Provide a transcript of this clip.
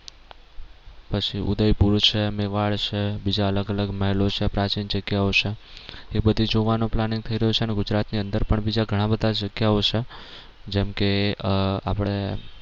પછી ઉદયપુર છે મેવાડ છે બીજા અલગ અલગ મહેલો છે પ્રાચીન જગ્યાઓ છે એ બધી જોવાનો planning થઈ રહ્યો છે અને ગુજરાત ની અંદર બીજા ઘણા બધા જગ્યાઓ છે જેમ કે આહ આપડે